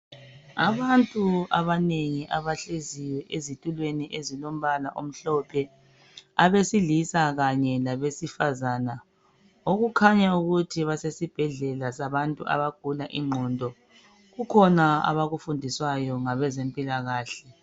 Abantu abanengi abahleziyo ezitulweni ezilombala omhlophe abesilisa, kanye labesifazana okukhanya ukuthi basesibhedlela sabantu abagula ingqondo kukhona abakufundiswayo ngabezempilakahle.